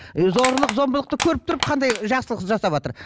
зорлық зомбылықты көріп тұрып қандай жақсылық жасаватыр